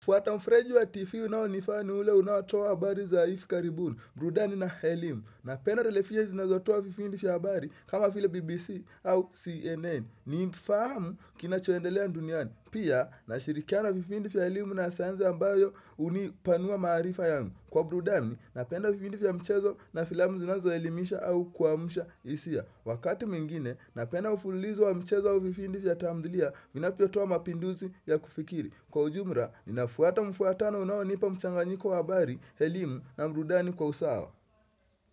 Fuata mfreji wa TV unaonifaa ni ule unaotoa habari za hivi karibuni, burudani na elimu. Napenda televisheni zinazotoa vipindi vya habari kama vile BBC au CNN. Napenda televisheni zinazotoa vipindi vya habari kama vile BBC au CNN. Pia, nashirikiana vipindi vya elimu na sayansi ambayo unipanua maarifa yangu. Kwa burudani, napenda vipindi vya mchezo na filamu zinazo elimisha au kuamsha hisia. Wakati mwingine, napenda mfululizo wa mchezo wa vipind vya tamdhilia, vinavyo toa mapinduzi ya kufikiri. Kwa ujumla, ninafuata mfuatano unaonipa mchanganyiko wa habari, elimu na burudani kwa usawa.